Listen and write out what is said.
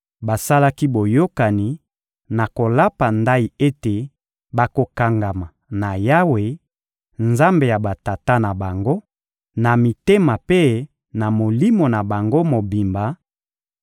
Basalaki boyokani na kolapa ndayi ete bakokangama na Yawe, Nzambe ya batata na bango, na mitema mpe na molimo na bango mobimba;